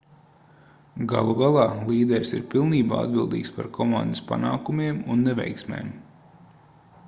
galu galā līderis ir pilnībā atbildīgs par komandas panākumiem un neveiksmēm